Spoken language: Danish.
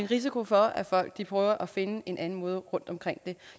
risiko for at folk prøver at finde en anden måde rundtomkring det